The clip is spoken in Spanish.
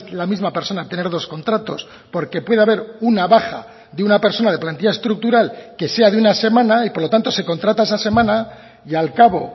la misma persona tener dos contratos porque puede haber una baja de una persona de plantilla estructural que sea de una semana y por lo tanto se contrata esa semana y al cabo